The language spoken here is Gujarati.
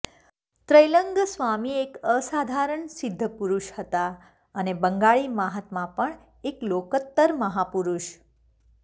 ત્રૈલંગ સ્વામી એક અસાધારણ સિદ્ધપુરુષ હતા અને બંગાળી મહાત્મા પણ એક લોકોત્તર મહાપુરુષ